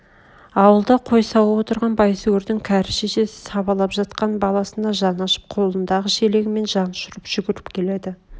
ауылда қой сауып отырған байсүгірдің кәрі шешесі сабалып жатқан баласына жаны ашып қолындағы шелегімен жан ұшырып жүгірп келеді